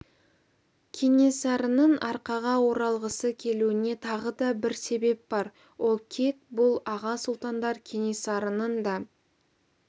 кенесарының арқаға оралғысы келуіне тағы да бір себеп бар ол кек бұл аға сұлтандар кенесарының да